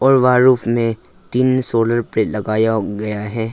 वहां रूफ तीन सोलर पे लगाया हो गया है।